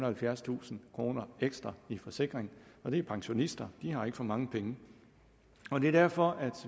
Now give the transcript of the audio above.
halvfjerdstusind kroner ekstra i forsikring og det er pensionister de har ikke for mange penge det er derfor at